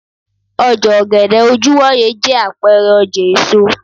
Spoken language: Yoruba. oja ogede ojuwoye je apeere oja eso